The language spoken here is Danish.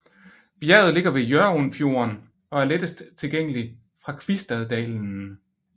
Bjerget ligger ved Hjørundfjorden og er lettest tilgængelig fra Kvistaddalen